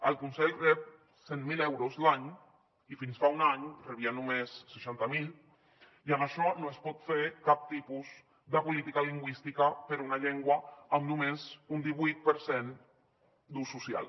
el conselh rep cent mil euros l’any i fins fa un any en rebia només seixanta mil i amb això no es pot fer cap tipus de política lingüística per a una llengua amb només un divuit per cent d’ús social